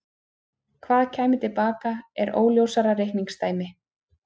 Hvað kæmi til baka er óljósara reikningsdæmi.